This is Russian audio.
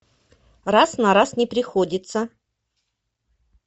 раз на раз не приходится